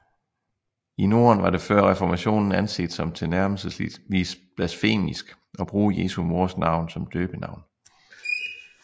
I Norden var det før reformationen anset som tilnærmelsesvis blasfemisk at bruge Jesu mors navn som døbenavn